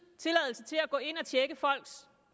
tilladelse til at gå ind og tjekke folks